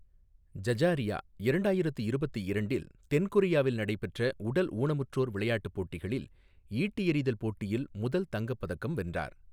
ஜஜாரியா இரண்டாயிரத்து இருபத்து இரண்டில் தென் கொரியாவில் நடைபெற்ற உடல் ஊனமுற்றோர் விளையாட்டுப் போட்டிகளில் ஈட்டி எறிதல் போட்டியில் முதல் தங்கப் பதக்கம் வென்றார்.